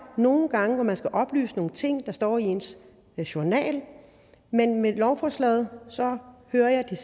nogle gange hvor man skal oplyse nogle ting der står i ens journal men med lovforslaget hører jeg at